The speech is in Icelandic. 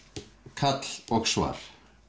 kall og svar